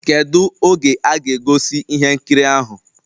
Kedu oge a ga-egosi ihe nkiri ahụ?